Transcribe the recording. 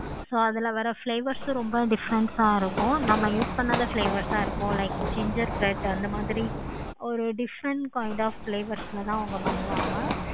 so அதுல வர flavors ரொம்ப different ஆஹ் இருக்கும். நம்ம use பண்ணாத flavors ஆஹ் இருக்கும். like ginger bread அந்த மாதிரி ஒரு different kind of flavors ல தான் அவங்க பண்ணுவாங்க.